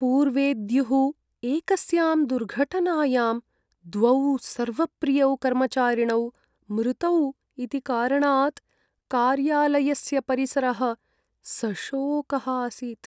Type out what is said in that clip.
पूर्वेद्युः एकस्यां दुर्घटनायां द्वौ सर्वप्रियौ कर्मचारिणौ मृतौ इति कारणात् कार्यालयस्य परिसरः सशोकः आसीत्।